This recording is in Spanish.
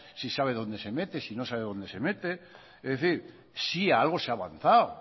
si sabe dónde se mete si no sabe dónde se mete es decir sí algo se ha avanzado